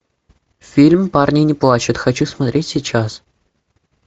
фильм парни не плачут хочу смотреть сейчас